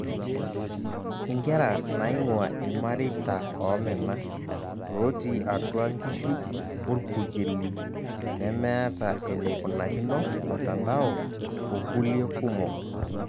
Inkera naing'ua irmareita oomena, looti atua nkishu orpurkeli nemeeta eneikunakino mtanado okulie kumok.